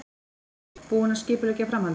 Hrund: Búinn að skipuleggja framhaldið?